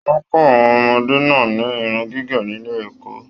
Wọn kọ àwọn ọmọdé náà ni Irun gígé nílé ẹ̀kọ́.